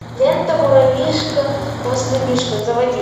лента муравьишка хвастунишка заводи